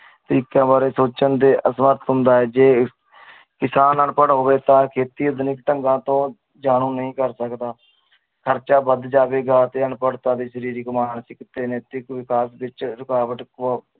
ਤਰੀਕਿਆਂ ਬਾਰੇ ਸੋਚਣ ਦੇ ਹੁੰਦਾ ਆ ਜੇ ਕਿਸਾਨ ਅਨਪੜ ਹੋਵੇ ਤਾ ਖੇਤੀ ਆਧੁਨਿਕਤਾ ਤੋਂ ਜਾਣੂ ਨੀ ਕਰ ਸਕਦਾ ਖਰਜਾ ਵੱਧ ਜਾਵੇਗਾ ਤੇ ਅਨਪੜਤਾ ਸਰੀਰਿਕ ਮਾਨਸਿਕ ਤੇ ਨੈਤਿਕ ਵਿਕਾਸ ਵਿਚ ਰੁਕਾਵਟ